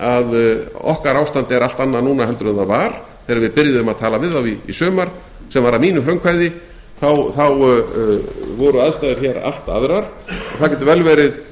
að okkar ástand er allt annað núna heldur en það var þegar við byrjuðum að tala við þá í sumar sem var að mínu frumkvæði þá voru aðstæður hér allt aðrar það getur vel verið